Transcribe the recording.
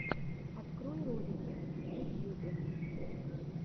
открой ролики в ютьюбе